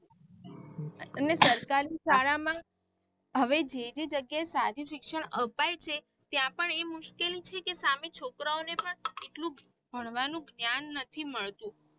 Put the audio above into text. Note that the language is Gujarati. એમને સરકારી શાળા માં હવે જે બી જાંગીયાએ સારી શિક્ષણ અપાય છે ત્યાં પણ એ મુશ્કિલ છેકે સામે છોકરાઓ ને પણ એટલું ભણવાનું જ્ઞાન નથી મળતું.